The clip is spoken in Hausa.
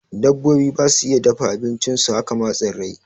Dabbobi basu iya dafa abincin su, haka ma tsirrai